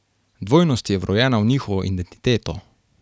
Dvojnost je vrojena v njihovo identiteto.